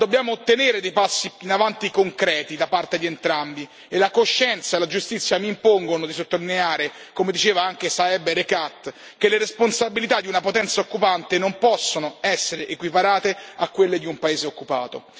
Ma dobbiamo ottenere dei passi avanti concreti da parte di entrambi e la coscienza e la giustizia mi impongono di sottolineare, come diceva anche Saeb Erekat, che le responsabilità di una potenza occupante non possono essere equiparate a quelle di un paese occupato.